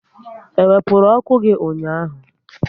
E wepụrụ ọkụ gị ụnyaahụ?